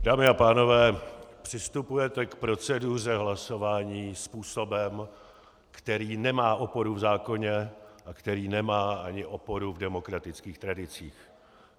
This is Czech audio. Dámy a pánové, přistupujete k proceduře hlasování způsobem, který nemá oporu v zákoně a který nemá ani oporu v demokratických tradicích.